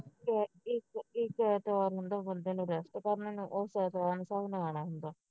ਫਿਰ ਇਕ ਇਕ ਐਤਵਾਰ ਨੂੰ ਜਿਹੜਾ ਬੰਦੇ ਨੇ rest ਕਰ ਲੈਣਾ ਉਹ ਨੇ ਆਉਣਾ ਹੁੰਦਾ